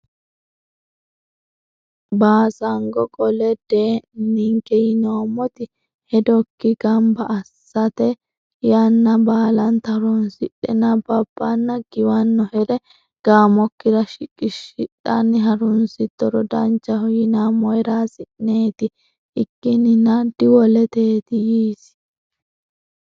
Baasango qole Dee ni ninke yinoommoti hedokki gamba assite yanna baalanta horonsidhe nabbabbanna giwannohere gaamokkira shiqishidhanni harunsittoro danchaho yinammohera hasi neeti ikkinninna diwoleteeti yiisi.